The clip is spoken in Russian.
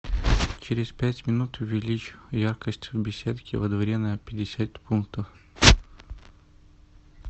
через пять минут увеличь яркость в беседке во дворе на пятьдесят пунктов